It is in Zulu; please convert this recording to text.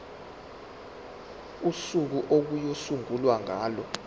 usuku okuyosungulwa ngalo